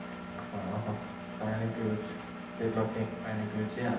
ହଁ ହଁ ପାଣି ପିଉଚି, ତେଲ ଖାଇକି ପାଣି ପିଉଚି ଆଉ